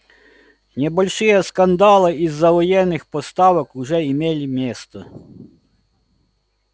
небольшие скандалы из-за военных поставок уже имели место